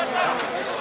Təkəri qırıldı.